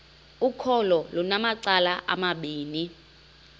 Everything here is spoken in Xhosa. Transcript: ukholo lunamacala amabini